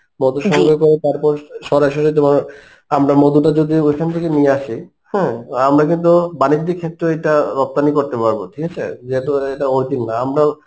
মধু সংগ্রহ করে তারপর সরাসরি তোমার আমরা মধুটা যদি ঐখান থেকে নিয়ে আসি হ্যাঁ, আমরা কিন্তু বানিজ্যিক ক্ষেত্রে ওইটা রপ্তানি করতে পারবো ঠিকাছে যেহেতু ওটা যেটা original আমরাও